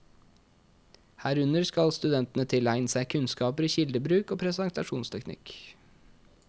Herunder skal studentene tilegne seg kunnskaper i kildebruk og presentasjonsteknikk.